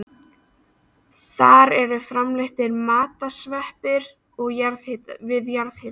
Þar eru framleiddir matsveppir við jarðhita.